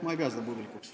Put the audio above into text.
Ma ei pea seda puudulikuks.